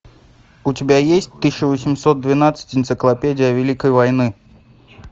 у тебя есть тысяча восемьсот двенадцать энциклопедия великой войны